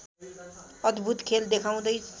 अद्‌भूत खेल देखाउँदै